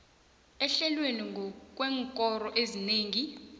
ehlelwe ngokweenkoro ezinengi